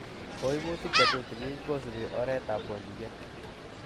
Koimutik chetutikin kosibi oretab kondiet.